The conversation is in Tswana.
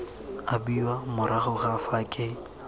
abiwa morago ga fa ke